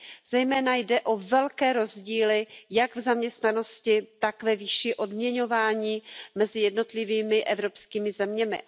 Jde zejména o velké rozdíly jak v zaměstnanosti, tak ve výši odměňování mezi jednotlivými evropskými zeměmi.